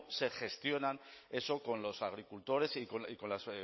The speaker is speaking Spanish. se gestiona eso con los agricultores y con las